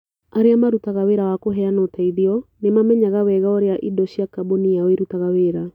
Arĩa marutaga wĩra wa kũheana ũteithio nĩ mamenyaga wega ũrĩa indo cia kambuni yao irutaga wĩra.